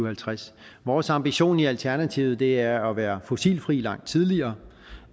halvtreds vores ambition i alternativet er at være fossilfri langt tidligere